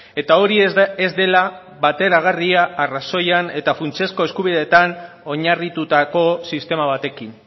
eta hori ez dela bateragarria arrazoian eta funtsezko eskubideetan oinarritutako sistema batekin